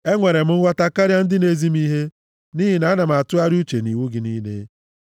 Enwere m nghọta karịa ndị na-ezi m ihe, nʼihi na ana m atụgharịa uche nʼiwu gị niile.